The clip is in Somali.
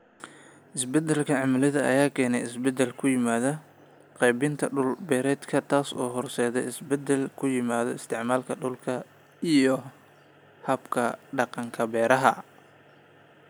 Isbeddelka cimilada ayaa keenaya isbeddel ku yimaada qaybinta dhul-beereedka, taasoo horseedaysa isbeddel ku yimi isticmaalka dhulka iyo hab-dhaqanka beeraha.